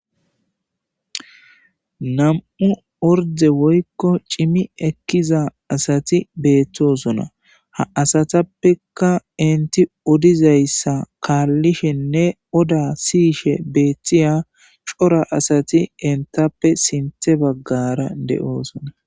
Nam'u orde woykko cimi ekkiza asati beettosona ha asatappeka inti odizayssa kaallishenne oda siyishe beethtiya sora asati entappe sinthe baggara de'oosona